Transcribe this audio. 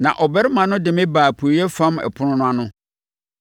Na ɔbarima no de me baa apueeɛ fam ɛpono no ano,